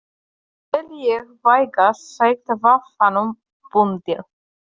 Það tel ég vægast sagt vafanum bundið.